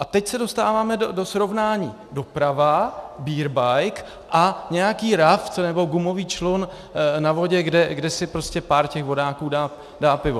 A teď se dostáváme do srovnání: doprava, beer bike, a nějaký raft nebo gumový člun na vodě, kde si prostě pár těch vodáků dá pivo.